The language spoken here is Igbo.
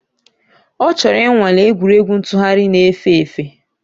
Ọ chọrọ ịnwale egwuregwu ntụgharị na-efe efe